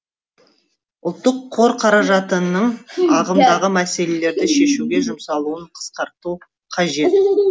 ұлттық қор қаражатының ағымдағы мәселелерді шешуге жұмсалуын қысқарту қажет